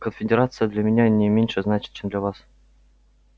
конфедерация для меня не меньше значит чем для вас